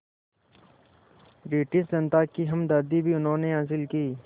British जनता की हमदर्दी भी उन्होंने हासिल की